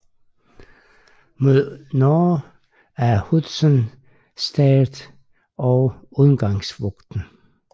Mod nord af Hudson Strait og Ungavabugten